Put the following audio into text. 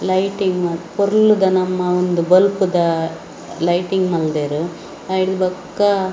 lighting ಮಾತ ಪೊರ್ಲುದ ನಮ್ಮ ಒಂದು ಬೊಲ್ಪುದ ಲೈಟಿಂಗ್‌ ಮಾಲ್ದೇರ್‌ ಅಯ್ಡ್‌ ಬೊಕ್ಕ --